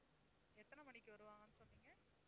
எத்தனை மணிக்கு வருவாங்கன்னு சொன்னீங்க?